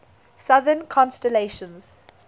southern constellations